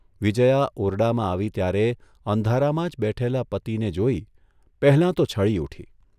વિજયા ઓરડામાં આવી ત્યારે અંધારામાં જ બેઠેલા પતિને જોઇ પહેલાં તો છળી ઊઠી.